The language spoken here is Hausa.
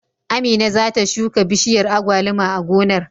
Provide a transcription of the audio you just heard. Amina za ta shuka bishiyar agwaluma a gonar.